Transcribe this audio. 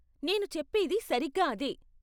నేను చెప్పేది సరిగ్గా అదే.